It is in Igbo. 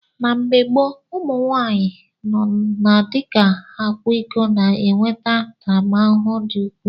Na mgbe gboo, ụmụ nwaanyị nọ na di akwa iko na-enweta ntaramahụhụ dị ukwuu.